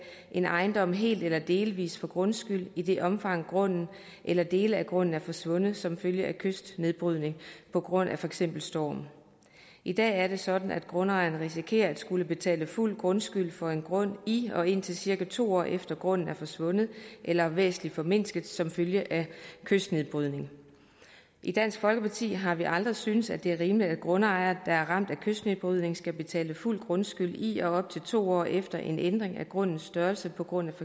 en ejendom helt eller delvis for grundskyld i det omfang grunden eller dele af grunden er forsvundet som følge af kystnedbrydning på grund af for eksempel storm i dag er det sådan at grundejeren risikerer at skulle betale fuld grundskyld for en grund i og indtil cirka to år efter grunden er forsvundet eller væsentlig formindsket som følge af kystnedbrydning i dansk folkeparti har vi aldrig syntes at det er rimeligt at grundejere der er ramt af kystnedbrydning skal betale fuld grundskyld i og op til to år efter en ændring af grundens størrelse på grund af